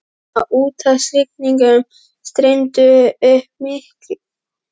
Á úthafshryggjunum streymdi upp mikil kvika og varð að bólstrabergi.